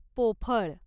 पोफळ